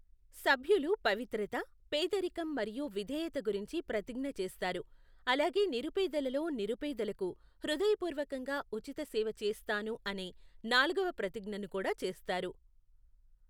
సభ్యులు పవిత్రత, పేదరికం మరియు విధేయత గురించి ప్రతిజ్ఞ చేస్తారు, అలాగే నిరుపేదలలో నిరుపేదలకు హృదయపూర్వకంగా ఉచిత సేవ చేస్తాను అనే నాల్గవ ప్రతిజ్ఞను కూడా చేస్తారు.